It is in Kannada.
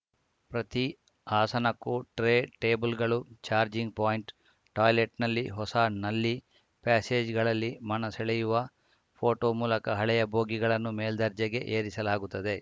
ಪ್ರತಿ ಆಸನಕ್ಕೂ ಟ್ರೇ ಟೇಬಲ್‌ಗಳು ಚಾರ್ಜಿಂಗ್‌ ಪಾಯಿಂಟ್‌ ಟಾಯ್ಲೆಟ್‌ನಲ್ಲಿ ಹೊಸ ನಲ್ಲಿ ಪ್ಯಾಸೇಜ್‌ಗಳಲ್ಲಿ ಮನಸೆಳೆಯುವ ಫೋಟೋ ಮೂಲಕ ಹಳೆಯ ಬೋಗಿಗಳನ್ನು ಮೇಲ್ದರ್ಜೆಗೆ ಏರಿಸಲಾಗುತ್ತದೆ